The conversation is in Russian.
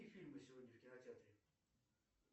какие фильмы сегодня в кинотеатре